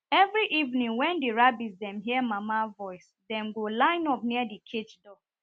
every evening wen the rabitts dem hear mama voice dem go line up near the cage door